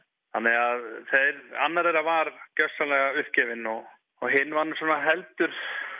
annar þeirra var gjörsamlega uppgefinn hinn var í heldur